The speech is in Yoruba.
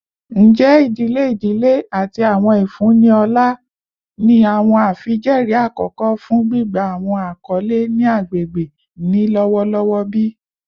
Njẹ idile idile ati awọn ifunni ọlá ni awọn afijẹẹri akọkọ fun gbigba awọn akọle ni agbegbe ni lọwọlọwọ bi?